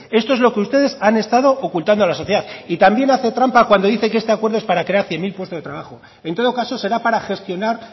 esto es lo que ustedes han estado ocultando a la sociedad y también hace trampa cuando dice que este acuerdo es para crear cien mil puestos de trabajo en todo caso será para gestionar